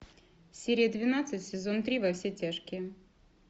серия двенадцать сезон три во все тяжкие